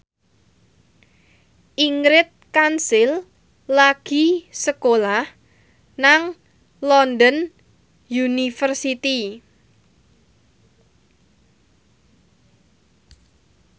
Ingrid Kansil lagi sekolah nang London University